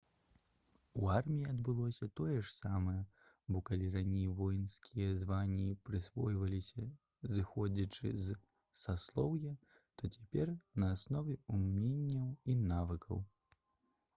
у арміі адбылося тое ж самае бо калі раней воінскія званні прысвойваліся зыходзячы з саслоўя то цяпер на аснове ўменняў і навыкаў